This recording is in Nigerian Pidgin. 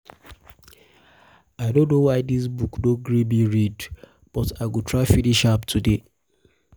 i no know why dis book no gree me read but i go try finish am today